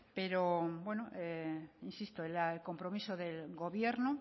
pero insisto el compromiso del gobierno